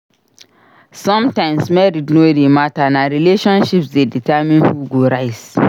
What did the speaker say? Sometimes merit no dey matter; na relationships dey determine who go rise.